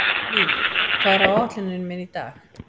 Liv, hvað er á áætluninni minni í dag?